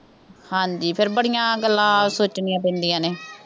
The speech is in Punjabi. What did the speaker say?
ਹਾਂਜੀ, ਫਿਰ ਬੜੀਆਂ ਗੱਲਾਂ ਸੋਚਣੀਆਂ ਪੈਂਦੀਆਂ ਨੇ।